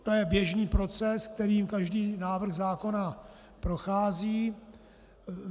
To je běžný proces, kterým každý návrh zákona prochází.